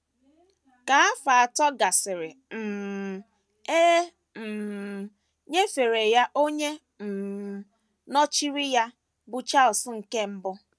Ka afọ atọ gasịrị, um e um nyefere ya onye um nọchiri ya, bụ́ Charles nke Mbụ.